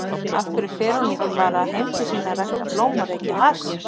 af hverju fer hún ekki bara heim til sín að rækta blóm og reykja hass?